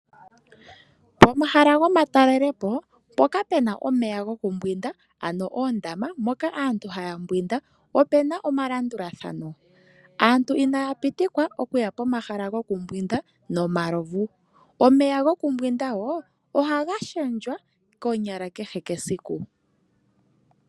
Pomahala gomatalelepo mpoka pena omeya gokumbwinda, ano oondama moka aantu haya mbwinda opena omalandulathano. Aantu inaya pitikwa okuya pomahala gokumbwinda nomalovu. Omeya gokumbwinda wo ohaga lundululwa konyala kehe esiku.